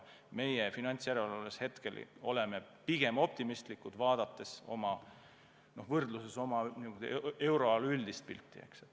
Meie finantsjärelevalves oleme pigem optimistlikud, vaadates oma võrdluses euroala üldist pilti.